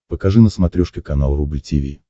покажи на смотрешке канал рубль ти ви